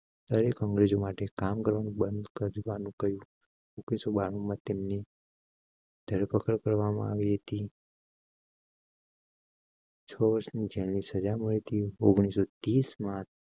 દરેક અંગ્રેજો માટે કામ કરવા બંધ કરવા નું કહ્યું. ઓગણીસો બાર તેમની ધરપકડ કરવામાં આવી હતી. છોછ નીચે ની સજા મળી થી ઓગણીસો ત્રીસ માં